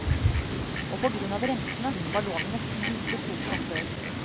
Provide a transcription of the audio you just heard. Og på grunn av rentene, var lånet nesten like stort som før.